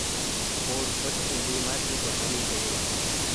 or ote e mbui mar twita manyiso ywak